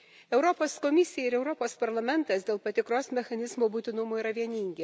Europos Komisija ir Europos Parlamentas dėl patikros mechanizmo būtinumo yra vieningi.